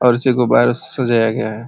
और इसे गुबारों से सजाया गया है।